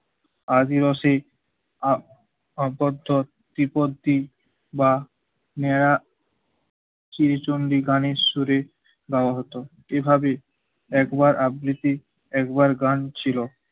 আদিবাসী আপ অন্তর্চোদ বিপত্তি বা নেয়া শ্রী চণ্ডী গানের শুরে গাওয়া হতো। এভাবে একবার আবৃত্তি একবার গান ছিল